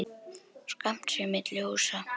Skammt sé milli húsa.